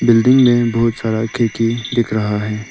Building में बहुत सारा खिड़की दिख रहा है।